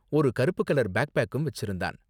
ஒரு கருப்பு கலர் பேக்பேக்கும் வெச்சிருந்தான்.